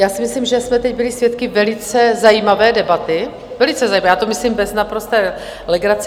Já si myslím, že jsme teď byli svědky velice zajímavé debaty, velice zajímavé, já to myslím bez naprosté legrace.